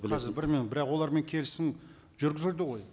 қазір бір минут бірақ олармен келісім жүргізілді ғой